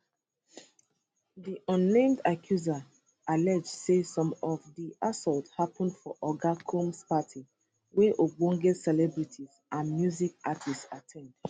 di unnamed accusers allege say some of di assaults happun for oga combs parties wey ogbonge celebrities and music artists at ten d